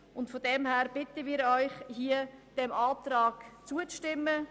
Insofern bitten wir Sie, diesem Antrag zuzustimmen.